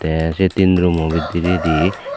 tay sey tin rumo bidiredi.